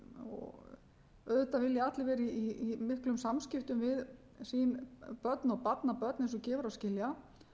viðkvæmt auðvitað vilja allir vera í miklum samskiptum við sín börn og barnabörn eins og gefur að skilja